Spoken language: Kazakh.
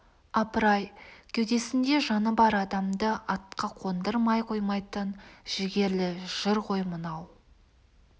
апыр-ай кеудесінде жаны бар адамды атқа қондырмай қоймайтын жігерлі жыр ғой мынау